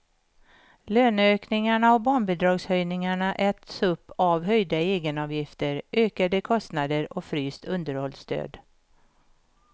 Löneökningarna och barnbidragshöjningen äts upp av höjda egenavgifter, ökade kostnader och fryst underhållsstöd.